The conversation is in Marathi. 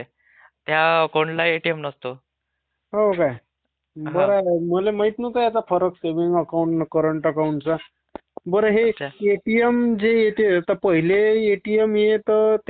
हो काय? बर झाल. मला माहित नव्हता यातला फरक. सेविंग अकाउंट आणि करंट अकाउंटचा. बर, हे एटीएम जे येते तर पहिलेजे एटीएम येई त्याले पिन कोड डायरेक्ट लागून येई.